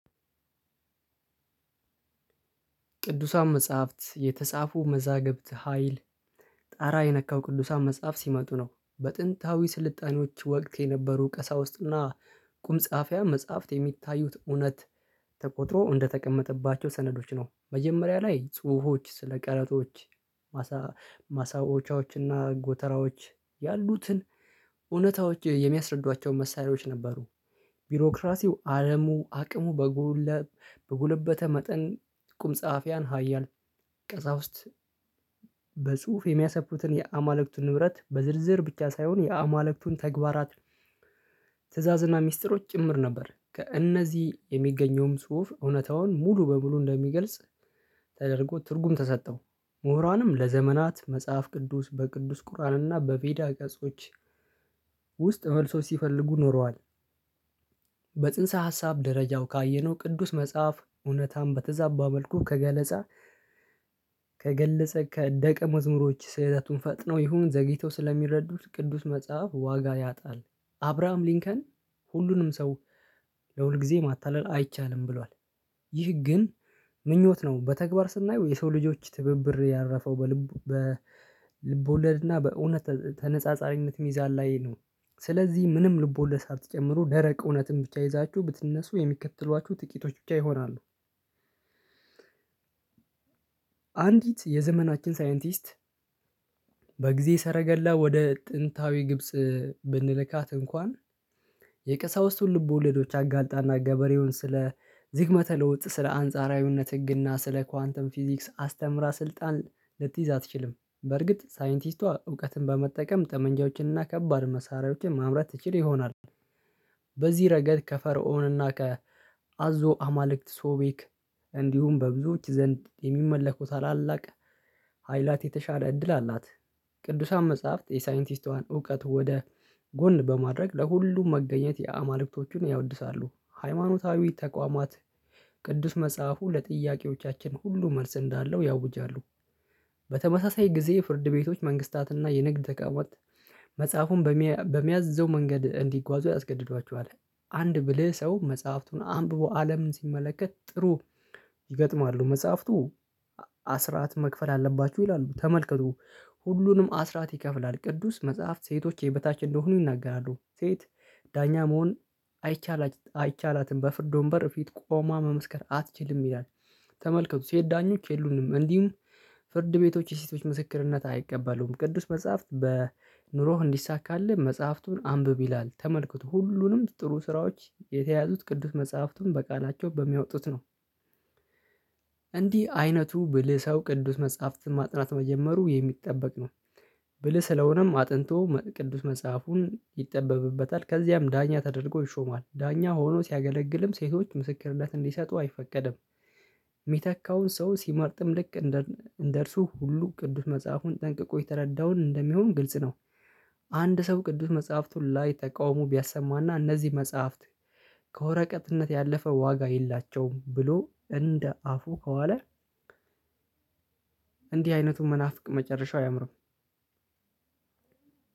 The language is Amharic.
ቅዱሳን መጽሐፍት የተጻፉ መዛግብት ሀይል ጣራ የነካው ቅዱሳን መጽሐፍ ሲመጡ ነው በጥንታዊ ስልጣኔዎች ወቅት የነበሩ ቀሳውስትና ቁምጻፊያን መጽሀፍት የሚታዩት እውነት ተቆጥሮ እንደተቀመጠባቸው ሰነዶች ነው። መጀመሪያ ላይ ጽሁፎች ስለ ቃላቶች ማሳ ማሳዎቻዎች እና ጎተራዎች ያሉትን እውነታዎች የሚያስረዷቸው መሳሪያዎች ነበሩ። ቢሮክራሲው አለሙ አቅሙ በጎለበተ መጠን ቁም ጸሐፊያን ሀያል ቀሳውስት በጽሁፍ የሚያሰፍሩትን የአማልክቱን ንብረት በዝርዝር ብቻ ሳይሆን የአማልክቱን ተግባራት ትዕዛዝና ሚስጥሮች ጭምር ነበር። ከእነዚህ የሚገኘውም ጽሁፍ እውነታውን ሙሉ በሙሉ እንደሚገልጽ ተደርጎ ትርጉም ተሰጠው። ምሁራንም ለዘመናት መጽሐፍ ቅዱስ በቅዱስ ቁርአንና በቬዳ ገጾች ውስጥ መልሱን ሲፈልጉ ኖረዋል። በጽንሰ ሀሳብ ደረጃው ካየነው ቅዱስ መጽሐፍ እውነታን በተዛባ መልኩ ከገለጸ ከደቀ መዝሙሮች ስህተቱን ፈጥነው ይሁን ዘግይተው ስለሚረዱት ቅዱስ መጽሐፍ ዋጋ ያጣል። አብራሃም ሊንከን ሁሉንም ሰው ለሁል ጊዜ ማታለል አይቻልም ብሏል። ይህ ግን ምኞት ነው በተግባር ስናየው የሰው ልጆች ትብብር ያረፈው በልቦለድና በእውነት ተነጻጻሪነት ሚዛን ላይ ነው። ስለዚህ ምንም ልቦለድ ሳትጨምሩ ደረቅ እውነትን ብቻ ይዛችሁ ብትነሱ የሚከተሏችሁ ጥቂቶች ብቻ ይሆናሉ። አንዲት የዘመናችን ሳይንቲስት በጊዜ ሰረገላ ወደ ጥንታዊ ግብጽ ብንልካት እንኳን የቀሳውስቱን ልቦለዶች አጋልጣና ገበሬውን ስለ ዝግመተ ለውጥ ስለ አንጻራዊነት ህግና ስለ ኳንተም ፊዚክስ አስተምራ ስልጣን ልትይዝ አትችልም። በርግጥ ሳይንቲስቷ እውቀትን በመጠቀም ጠመንጃዎችን እና ከባድ መሳሪያዎችን ማምረት ትችል ይሆናል። በዚህ ረገድ ከፈርዖንና ከአዞ አማልክት ሶቤክ እንዲሁም በብዙዎች ዘንድ የሚመለኩ ታላላቅ ኃይላት የተሻለ እድል አላት። ቅዱሳን መጽሐፍት የሳይንቲስቷን እውቀት ወደ ጎን በማድረግ ለሁሉም መገኘት የአማልክቶቹን ያወድሳሉ ሃይማኖታዊ ተቋማት ቅዱስ መጽሐፉ ለጥያቄዎቻችን ሁሉ መልስ እንዳለው ያውጃሉ። በተመሳሳይ ጊዜ የፍርድ ቤቶች መንግስታትና የንግድ ተቋማት መጽሐፉን በሚያዘው መንገድ እንዲጓዙ ያስገድዷቸዋል። አንድ ብልህ ሰው መጽሐፍቱን አንብቦ አለምን ሲመለከት ጥሩ ይገጥማሉ መጽሐፍቱ አስራት መክፈል አለባችሁ ይላሉ ተመልከቱ ሁሉንም አስራት ይከፍላል። ቅዱስ መጽሐፍት ሴቶች የበታች እንደሆኑ ይናገራሉ ሴት ዳኛ መሆን አይቻላትም አይቻላትም በፍርድ ወንበር ፊት ቆማ መመስከር አትችልም ይላል። ተመልከቱ ሴት ዳኞች የሉንም እንዲሁም ፍርድ ቤቶች የሴቶች ምስክርነት አይቀበሉም ቅዱስ መጽሐፍት በኑሮህ እንዲሳካልህ መጽሐፍቱን አንብብ ይላል ተመልክቶ ሁሉንም ጥሩ ስራዎች የተያዙት ቅዱስ መጽሐፍቱን በቃላቸው በሚያወጡት ነው። እንዲህ አይነቱ ብልህ ሰው ቅዱስ መጽሐፍትን ማጥናት መጀመሩ የሚጠበቅ ነው። ብልህ ስለሆነም አጥንቶ ቅዱስ መጽሐፉን ይጠበብበታል ከዚያም ዳኛ ተደርጎ ይሾማል ዳኛ ሆኖ ሲያገለግልም ሴቶች ምስክርነት እንዲሰጡ አይፈቀድም። ሚተካውን ሰው ሲመርጥም ልክ እንደ እርሱ ሁሉ ቅዱስ መጽሐፉን ጠንቅቆ የተረዳውን እንደሚሆን ግልጽ ነው። አንድ ሰው ቅዱስ መጽሐፍቱን ላይ ተቃውሞ ቢያሰማና እነዚህ መጽሐፍት ከወረቀትነት ያለፈ ዋጋ የላቸውም ብሎ እንደ አፉ ከዋለ። እንዲህ አይነቱ መናፍቅ መጨረሻው አያምርም።